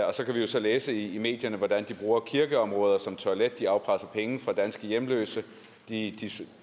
og så kan vi jo så læse i medierne hvordan de bruger kirkeområder som toilet at de afpresser penge fra danske hjemløse at de